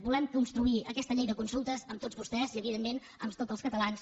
volem construir aquesta llei de consultes amb tots vostès i evidentment amb tots els catalans